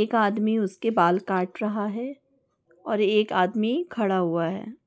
एक आदमी उसके बाल काट रहा है और एक आदमी खड़ा हुआ है।